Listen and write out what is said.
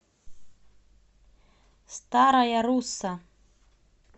старая русса